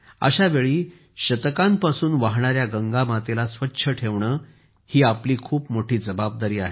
अशावेळी शतकांपासून वाहणाऱ्या गंगा मातेला स्वच्छ ठेवणे हि आपली खूप मोठी जबाबदारी आहे